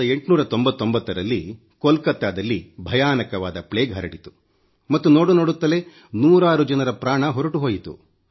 1899 ರಲ್ಲಿ ಕೋಲ್ಕತ್ತಾದಲ್ಲಿ ಭಯಾನಕವಾದ ಪ್ಲೇಗ್ ಹರಡಿತು ಮತ್ತು ನೋಡು ನೋಡುತ್ತಲೇ ನೂರಾರು ಜನರ ಪ್ರಾಣ ಹೊರಟು ಹೋಯಿತು